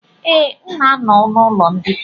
Ee, m na-anọ n'ụlọ mbikọ.